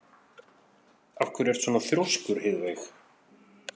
Af hverju ertu svona þrjóskur, Heiðveig?